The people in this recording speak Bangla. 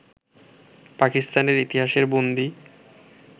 পাকিস্তানের ইতিহাসের বন্দী